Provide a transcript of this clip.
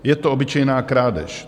"Je to obyčejná krádež.